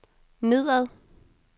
nedad